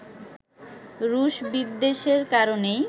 রুশ বিদ্বেষের কারণেই